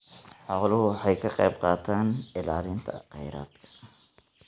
Xooluhu waxay ka qaybqaataan ilaalinta kheyraadka.